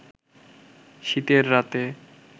শীতের রাতে